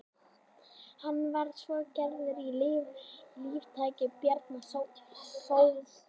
hann var svo gerður að líflækni bjarna sóldáns